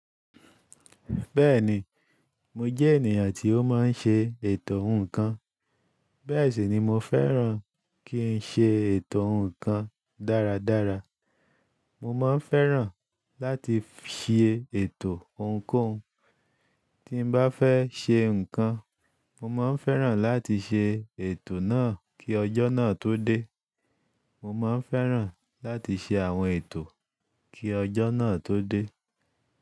Bẹ́ẹ̀ni, mo jẹ́ ènìyàn tí ó máa ń ṣe ètò ohun kan. Bẹ́ẹ̀ sì ni mo fẹ́ràn kí ń ṣe ètò ohun kan dáradára. Mo máa ń fẹ́ràn láti fi ṣe ètò ohunkóhun. Tí m bá fẹ́ ṣe nǹkan, mo máa ń fẹ́ràn láti ṣe ètò náà kí ọjọ́ náà tó dé. Mo máa ń fẹ́ràn láti ṣe àwọn ètò kí ọjọ́ náà tó dé.